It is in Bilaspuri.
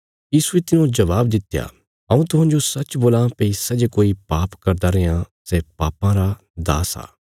यीशुये तिन्हाजो जबाब दित्या हऊँ तुहांजो सच्च बोलां भई सै जे कोई पाप करदा रैयां सै पापां रा दास आ